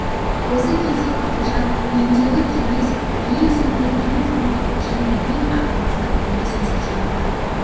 осы кезде тәкежан үйіндегі кеңес ең соңғы ең салмақты және ең аямастықбәле сөзін шығарды